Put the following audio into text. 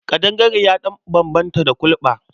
Ƙandangare ya ɗan bambanta da kulɓa.